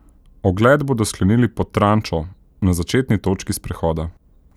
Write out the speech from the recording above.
Ogled bodo sklenili pod Trančo, na začetni točki sprehoda.